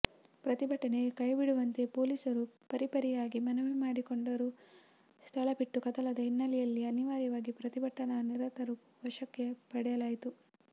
ಪ್ರತಿಭಟನೆ ಕೈಬಿಡುವಂತೆ ಪೊಲೀಸರು ಪರಿಪರಿಯಾಗಿ ಮನವಿ ಮಾಡಿಕೊಂಡರೂ ಸ್ಥಳಬಿಟ್ಟು ಕದಲದ ಹಿನ್ನೆಲೆಯಲ್ಲಿ ಅನಿವಾರ್ಯವಾಗಿ ಪ್ರತಿಭಟನಾ ನಿರತರನ್ನು ವಶಕ್ಕೆ ಪಡೆಯಲಾಯಿತು